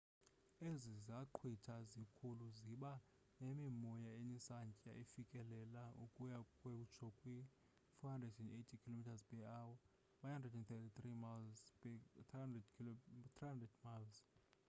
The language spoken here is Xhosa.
ezi zaqhwithi zikhulu ziba nemimoya enesantya esifikelela ukuya kutsho kwi-480 km/h 133 m/s; 300 mph